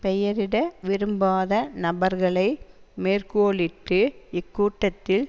பெயரிட விரும்பாத நபர்களை மேற்கோளிட்டு இக்கூட்டத்தில்